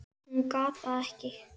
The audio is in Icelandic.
Hún gat það ekki.